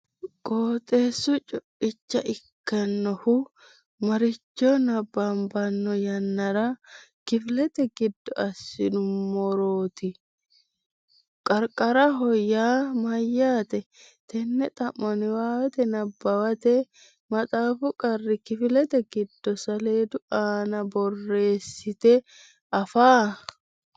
qooxeesi co’icha ikkannohu maaricho Nabbabbano yannara kifilete giddo assinummorooti? Qarqaraho yaa mayyaate? Tenne xa’mo Niwaawe nabbawate maxaafu qarri kifilete giddo saleedu aana borreessite afaa?